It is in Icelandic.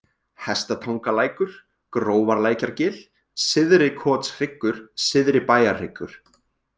Hestatangalækur, Grófarlækjargil, Syðri-Kotshryggur, Syðri-Bæjarhryggur